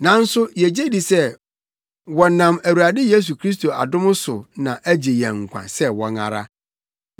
Nanso yegye di sɛ wɔnam Awurade Yesu Kristo adom so na agye yɛn nkwa sɛ wɔn ara.”